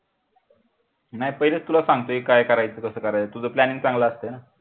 नाही पहिले तुला सांगतोय काय करायचं कसं करायच तुझं planning चांगलं असते ना